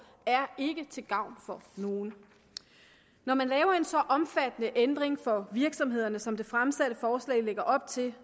er ikke til gavn for nogen når man laver en så omfattende ændring for virksomhederne som det fremsatte forslag lægger op til